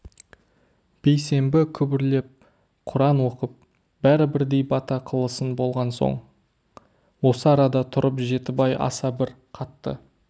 бейсенбі күбірлеп құран оқып бәрі бірдей бата қылысын болған соң осы арада тұрып жеті бай аса бір қатты